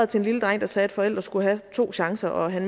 til en lille dreng der sagde at forældre skulle have to chancer og at han